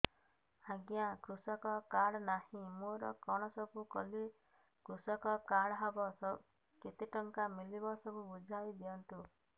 ଆଜ୍ଞା କୃଷକ କାର୍ଡ ନାହିଁ ମୋର କଣ ସବୁ କଲେ କୃଷକ କାର୍ଡ ହବ କେତେ ଟଙ୍କା ମିଳିବ ସବୁ ବୁଝାଇଦିଅନ୍ତୁ